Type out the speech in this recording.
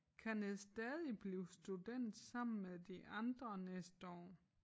Kan jeg stadig blive student sammen med de andre næste år